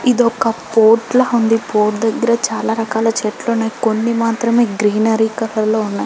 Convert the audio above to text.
ఇదొక పోర్టు లా ఉంది పోర్ట్ దెగ్గర చాల రకాల చెట్లు ఉన్నాయి కొన్ని మాత్రమే గ్గ్రేన్నారీ కలర్ లో ఉన్నాయి--